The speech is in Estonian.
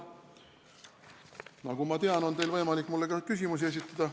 Nagu ma tean, on teil võimalik mulle ka küsimusi esitada.